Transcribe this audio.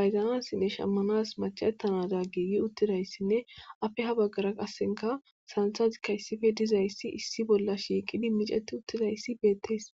bayzanassinne shammanas macettanada giigi uttidayssinne afe ha baggara qassinka sansazikka issife dizayssi issi bolla shiiqidi miceti uttidayssi beettees.